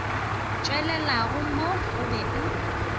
tšwelelago mo o be o